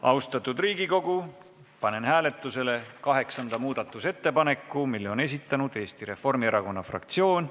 Austatud Riigikogu, panen hääletusele kaheksanda muudatusettepaneku, mille on esitanud Eesti Reformierakonna fraktsioon.